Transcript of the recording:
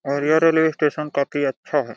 और यह railway station काफी अच्छा है।